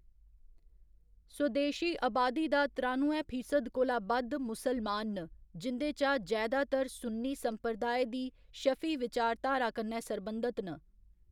स्वदेशी अबादी दा त्रानुए फीसद कोला बद्ध मुसलमान न जिं'दे चा जैदातर सुन्नी संप्रदाय दी शफी विचारधारा कन्नै सरबंधत न।